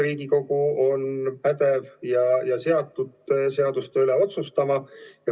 Riigikogu on pädev ja seatud seaduste üle otsustama.